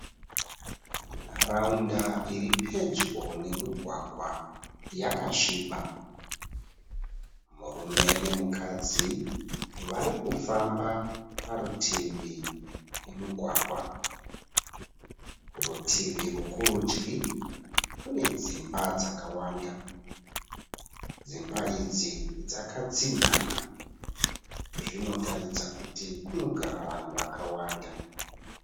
Nharaunda iri pedyo nemugwagwa yakasviba. Murume nemukadzi vari kufamba parutivi pemugwagwa. Rutivi rwekurudyi kune dzimba dzakawanda. Dzimba idzi dzakatsinhanha. Zvinotaridza kuti kunogara vanhu vakawanda.